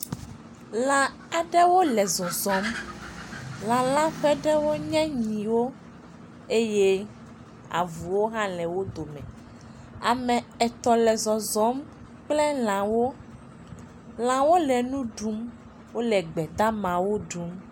Lã aɖewo le zɔzɔm. Lã la ƒe ɖewo nye nyiwo eye ame avuwo hã le wo dome. Ame etɔ̃ le zɔzɔm kple lãwo. Lãwo le nu ɖum, wole gbedamawo ɖum.